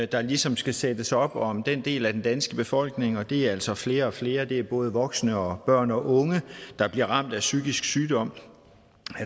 der ligesom skal sættes op om den del af den danske befolkning og det er altså flere og flere det er både voksne og børn og unge der bliver ramt af psykisk sygdom